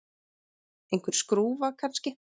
Einhver skrúfa, kannski.